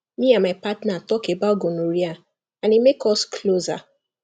me and my partner talk about gonorrhea and e make us closer